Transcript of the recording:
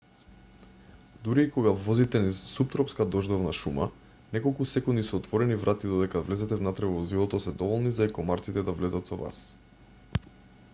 дури и кога возите низ суптропска дождовна шума неколку секунди со отворени врати додека да влезете внатре во возилото се доволни за и комарците да влезат со вас